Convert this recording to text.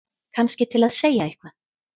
Kannski til að segja eitthvað.